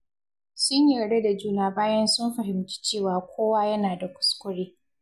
Sun yarda da juna bayan sun fahimci cewa kowa yana da kuskure.